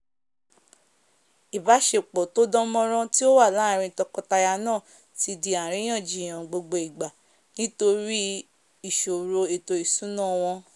ìbásepò tódán mórán tí ó wà láàrin tokọ-taya náà ti di àríyànjiyàn gbogbo ìgbà nítorí ìsòrò ètò ìsúnà wòṇ